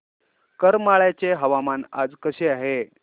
करमाळ्याचे हवामान आज कसे आहे